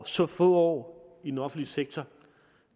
så få år i den offentlige sektor